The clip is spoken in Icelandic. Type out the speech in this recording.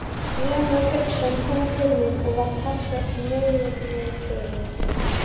Rúnar Hauksson kom til mín og var talsvert niðrifyrir.